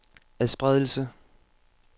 adspredelse